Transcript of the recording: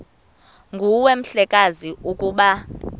nguwe mhlekazi ukuba